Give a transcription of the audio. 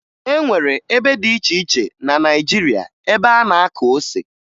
E nwere ebe dị iche iche na Naịjirịa ebe a na-akụ ose